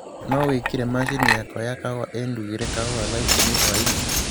no wīkīre mashini yakwa ya kahūwa īndugīre kahūwa thaa īkūmi hwaīnī